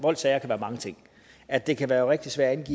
voldssager kan være mange ting at det kan være rigtig svært